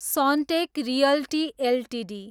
Sunteck realty Ltd